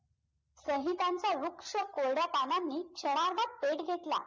संहितांच्या वृक्ष कोरड्या पानांने क्षणाभरात पेट घेतला